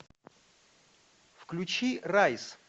включи райс